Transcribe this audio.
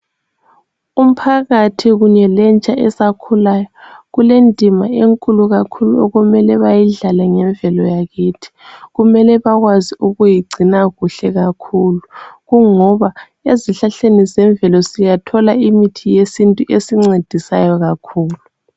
Umphakathi kunye lentsha esakhulayo kulendima enkulu kakhulu okumele bayidlale ngemvelo yakithi. Kumele bakwazi ukuyigcina kuhle kakhulu, kungoba ezihlahleni zemvelo siyathola imithi yesintu esincedisayo kakhulu.